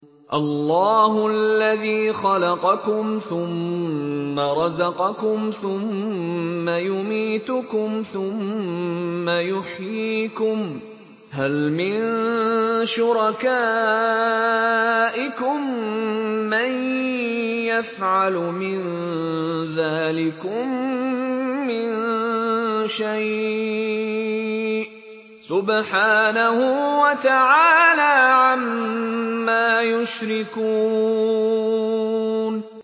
اللَّهُ الَّذِي خَلَقَكُمْ ثُمَّ رَزَقَكُمْ ثُمَّ يُمِيتُكُمْ ثُمَّ يُحْيِيكُمْ ۖ هَلْ مِن شُرَكَائِكُم مَّن يَفْعَلُ مِن ذَٰلِكُم مِّن شَيْءٍ ۚ سُبْحَانَهُ وَتَعَالَىٰ عَمَّا يُشْرِكُونَ